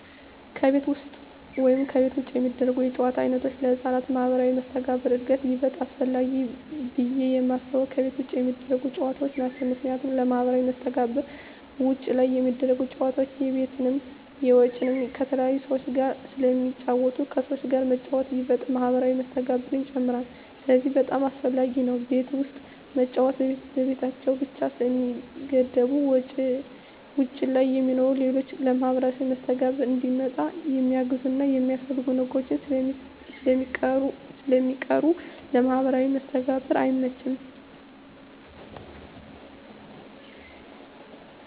ከቤት ውስጥ ወይም ከቤት ውጭ የሚደረጉ የጨዋታ ዓይነቶች ለሕፃናት ማኅበራዊ መስተጋብር እድገት ይበልጥ አስፈላጊው ብየ የማስበው ከቤት ውጭ የሚደረጉ ጨዎታዎች ናቸው ምክንያቱም ለማህበራዊ መስተጋብር ውጭ ላይ ሚደረጉት ጨወታዎች የቤትንም የውጭንም ከተለያዩ ሰዎች ጋር ስለሚጫወቱ ከሰዎች ጋር መጫወት ይበልጥ ማህበራዊ መስተጋብርን ይጨምራል ስለዚህ በጣም አሰፈላጊ ነው ቤት ውስጥ መጫወት በቤታቸው ብቻ ስለሚገደቡ ውጭ ላይ የሚሰሩ ሌሎች ለማህበራዊ መስተጋብር እንዲመጣ የሚያግዙና የሚያስፈልጉ ነገሮች ስለሚቀሩ ለማህበራዊ መስተጋብር አይመችም።